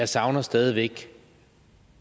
savner stadig væk